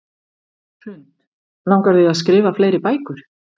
Hrund: Langar þig að skrifa fleiri bækur?